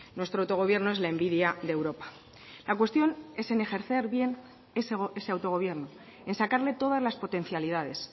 nuestro autogobierno es la envidia de europa la cuestión es en ejercer bien ese autogobierno en sacarle todas las potencialidades